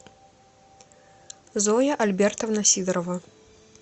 зоя альбертовна сидорова